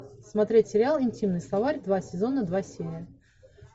смотреть сериал интимный словарь два сезона два серия